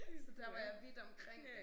Så der var jeg vidt omkring